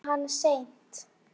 Kom hann seint?